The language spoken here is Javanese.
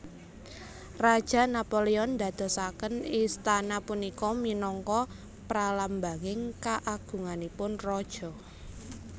Raja Napoleon ndadosaken istana punika minangka pralambanging kaagunganipun raja